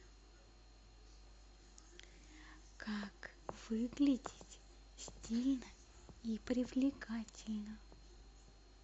как выглядеть стильно и привлекательно